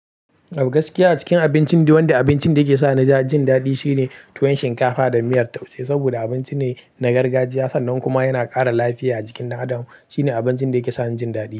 To gaskiya a cikin abincin daiwanda, abincin da yake sa ni jin daɗi shine tuwon shinkafa da miyar taushe. Saboda abinci ne na gargajiya sannan kuma yana ƙara lafiya a jikin ɗan adam. Shine abincin da yake sa ni jin daɗi.